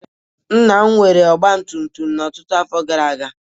Nna m nwere ọgba tum tum ọtụtụ afọ gara aga.